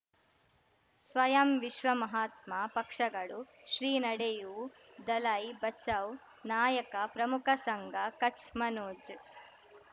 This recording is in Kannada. ಸ್ವಯಂ ವಿಶ್ವ ಮಹಾತ್ಮ ಪಕ್ಷಗಳು ಶ್ರೀ ನಡೆಯೂ ದಲೈ ಬಚೌ ನಾಯಕ ಪ್ರಮುಖ ಸಂಘ ಕಚ್ ಮನೋಜ್